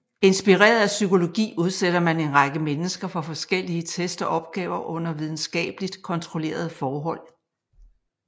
Inspireret af psykologi udsætter man en række mennesker for forskellige test og opgaver under videnskabeligt kontrollerede forhold